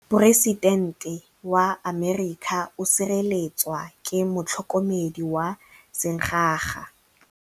Poresitêntê wa Amerika o sireletswa ke motlhokomedi wa sengaga.